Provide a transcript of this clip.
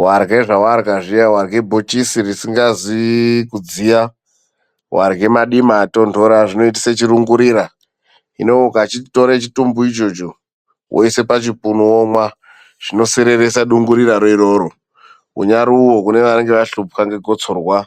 Vahlwe zvavahlwa zviya vahlwe bochisi risingazi kudziya, vahlwe madima atondora zvinoitise chirungurira. Hino ukatore chitumbu icho woise pachipunu womwa zvinosereresa dunguriro rona iroro. Unyari uyo unenge ashupwa negosorwa